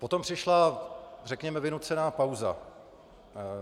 Potom přišla, řekněme, vynucená pauza.